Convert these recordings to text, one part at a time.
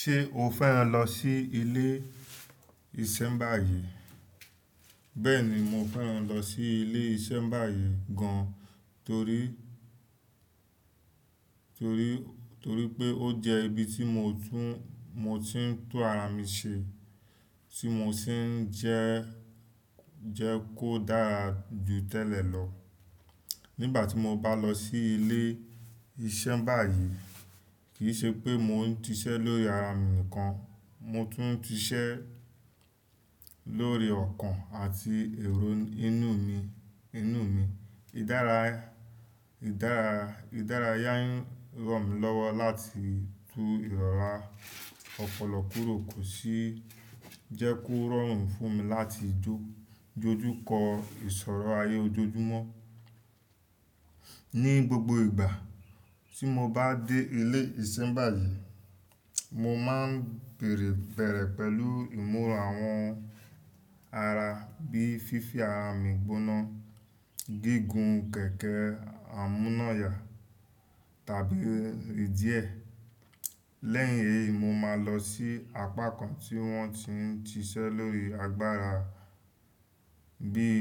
Ṣé o fẹ́ràn lọ sí ilé ìṣẹ́ báyìí? Bẹ́ẹ̀ni, mo fẹ́ràn lọ sí ilé ìṣẹ́ báyìí gan, torí, torí, torí pé ó jẹ́ ibi tí mo tún, mo ti ń tún ara mi ṣe, tí mo sì ń jẹ́, jẹ́ kó dára jù tẹ́lẹ̀ lọ. Nígbà tí mo bá lọ sí ilé ìṣẹ́ báyìí, kì í ṣe pé mo ń siṣẹ́ lórí ara mi nìkan, mo tún ti siṣẹ́ lórí ọkàn àti èrò inú mi, inú mi. Ìdárayá, Ìdára, Ìdárayá n ràn mí lọ́wọ́ láti tu ìrọ́ra ọpọlọ kúrò, kò sì jẹ́ kó rọrùn fún mi láti jó, dojú kọ ìṣòro ayé ojoojúmọ́. Ní gbogbo ìgbà tí mo bá dé ilé ìṣẹ́ báyìí, mo máa ń bèrè bẹ̀rẹ̀ pẹ̀lú ìmúra àwọn ara bíi fífi ara mi gbóná, gígùn kẹ̀kẹ́ amúnáyà tàbí ìdí ẹ̀. Lẹ́yìn èyí, mo máa lọ sí apá kan tí wọ́n ti ń siṣẹ́ lórí agbára, bíi,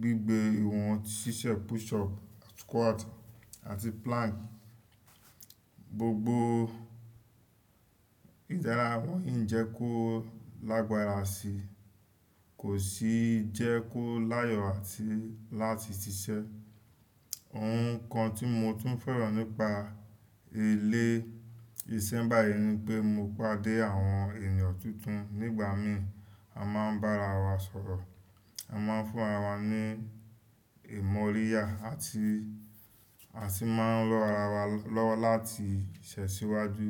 gigbé ohun, ṣíṣe push up, squat àti plank. Gbogbo ìdára wọ̀nyí ń jẹ́ kó lágbára síi, kò sì jẹ́ kó láyọ̀ àti láti ṣiṣẹ́. Ohun kan tí mo tún fẹ́ràn nípa ilé ìṣẹ́ báyìí ni pé mo pàdé àwọn èeyàn tuntun nígbà míí, a máa ń bá ara wa sọ̀rọ̀, a máa ń fún ara wa ní ìmọ́ríyá àti, àti máa ń rọ́ ara wa lọ́wọ́ láti tẹ̀ síwájú.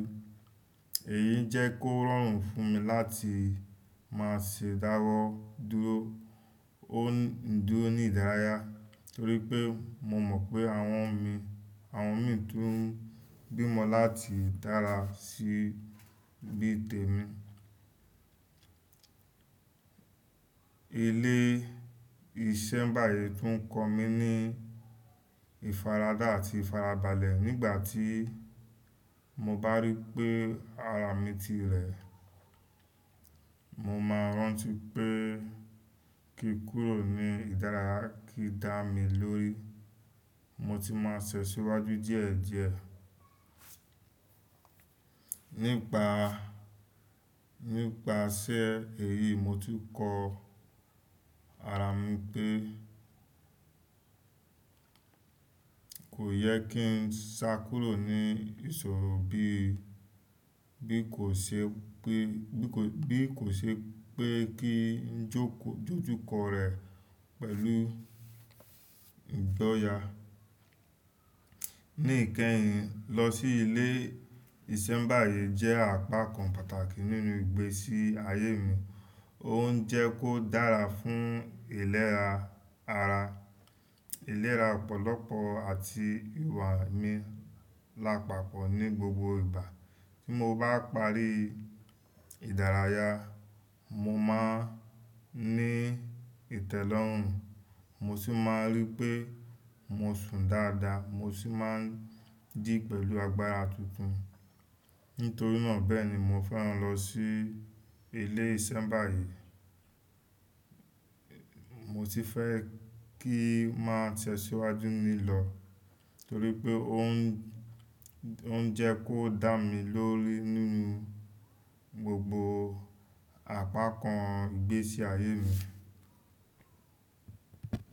Èyí ń jẹ́ kó rọrùn fún mi láti máa ṣe dáwọ́ dúró, ón, dúró ní ìdárayá, torí pé mo mọ̀ pé àwọn mi, àwọn mi tún ń gbímọ láti dára sí bí tẹ̀mí. Ilé ìṣẹ́ báyìí tún ń kọ́ mi ní ìfaradà àti ìfarabalẹ̀ nígbà tí mo bá rí pé ara mi ti rẹ̀. Mo máa rántí pé kí n kúrò ní ìdárayá kì í dá mi lórí, mo sì máa tẹ̀ síwájú díẹ̀díẹ̀. Nípa, nípa iṣẹ́ èyí, mo ti kọ ara mi pé kò yẹ kí n sá kúrò ní ìṣòro bí, bí kò ṣe pé, bí kò ṣe pé kí ń jókòó, dojú kọ rẹ̀ pẹ̀lú ìgbọ́ya. Ní ìkẹyìn, lọ sí ilé ìṣẹ́ báyìí jẹ́ àpá kan pàtàkì nínú ìgbésí ayé mi. Ó ń jẹ́ kó dára fún ìlera ara, ìlera ọ̀pọ̀lọpọ̀ àti ìwà mi lápapọ̀ ní gbogbo ìgbà. Tí mo bá parí ìdárayá, mo máa ń ní ìtẹ́lọ́rùn, mo sì máa ń rí pé mo sùn dáadáa, mo sì máa ń jì pẹ̀lú agbára tuntun. Nítorí nà bẹ́ẹ̀ ni mo fẹ́ràn lọ sí ilé ìṣẹ́ báyìí. Mo sì fẹ́ kí i máa tẹ̀ síwájú mí lọ̀, torí pé ó ń, ó ń jẹ́ kó dá mi lórí nínú gbogbo apá kan ìgbésí ayé mi.